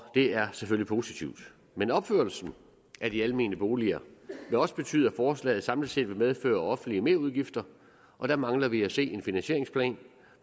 er selvfølgelig positivt men opførelsen af de almene boliger vil også betyde at forslaget samlet set vil medføre offentlige merudgifter og der mangler vi at se en finansieringsplan